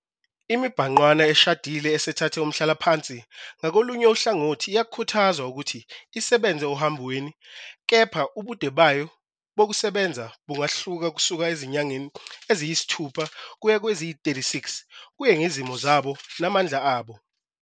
Imibhangqwana eshadile esethathe umhlalaphansi, ngakolunye uhlangothi, iyakhuthazwa ukuthi isebenze ohambweni, kepha ubude bayo bokusebenza bungahluka kusuka ezinyangeni eziyisithupha kuya kweziyi-36 kuye ngezimo zabo namandla abo.